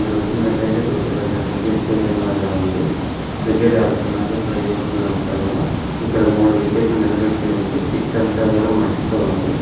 చూస్తూనట్టు అయితే ఇక్కడ ఒక పెద్ద క్రికెట్ స్టేడియం ల ఉంది క్రికెట్ ఆడుతున్నారు ఇక్కడ యువకులు అంతా కూడా ఇక్కడ మూడు వికెట్ లు నిలబెట్టి ఉంది పిచ్ అంతా కూడా మట్టి తో ఉంది.